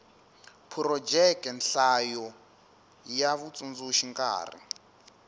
phurojeke nhlayo ya vatsundzuxi nkarhi